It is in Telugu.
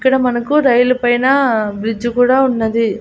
ఇక్కడ మనకు రైలు పైన బ్రిడ్జి కూడా ఉన్నది.